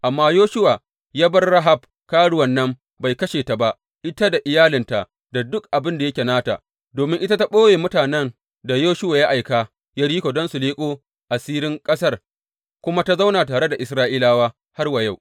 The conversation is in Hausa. Amma Yoshuwa ya bar Rahab karuwan nan bai kashe ta ba, ita da iyalinta da duk abin da yake nata, domin ita ta ɓoye mutanen da Yoshuwa ya aika Yeriko don su leƙo asirin ƙasar kuma ta zauna tare da Isra’ilawa har wa yau.